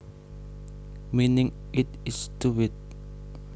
Meaning It is stupid